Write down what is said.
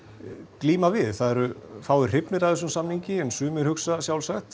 glíma við það eru fáir hrifnir af þessum samningi en sumir hugsa sjálfsagt